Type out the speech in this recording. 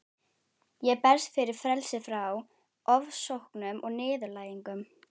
Ég berst fyrir frelsi frá ofsóknum og niðurlægingu.